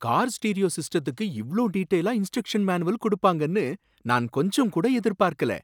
Car stereo சிஸ்டத்துக்கு இவ்ளோ டீடெயிலா இன்ஸ்ட்ரக்ஷன் மேனுவல் குடுப்பாங்கன்னு நான் கொஞ்சம்கூட எதிர்பார்க்கல.